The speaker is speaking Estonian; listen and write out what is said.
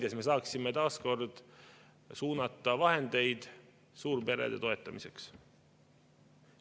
Siis me saaksime taas suunata vahendeid suurperede toetamiseks.